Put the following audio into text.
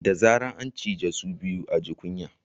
Da zarar an ciji sau biyu a ji kunya